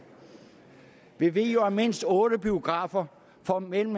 vi ved jo at mindst otte biografer får mellem